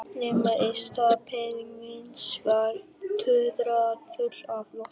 Nema í stað brennivíns var tuðra full af lofti.